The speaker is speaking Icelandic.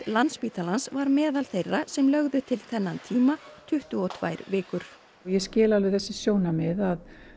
Landspítalans var meðal þeirra sem lögðu til þennan tíma tuttugu og tvær vikur ég skil alveg þessi sjónarmið að